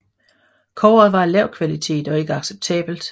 Kobberet var af lav kvalitet og ikke acceptabelt